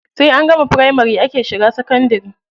Sai an gama firamari ake shiga sakandari.